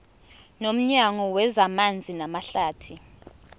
nomnyango wezamanzi namahlathi